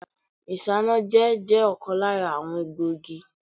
Isanaje je ọ̀kan lára àwọn egbògi.